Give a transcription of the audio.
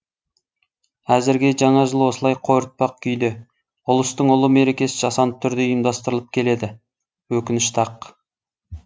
әзірге жаңа жыл осылай қойыртпақ күйде ұлыстың ұлы мерекесі жасанды түрде ұйымдастырылып келеді өкінішті ақ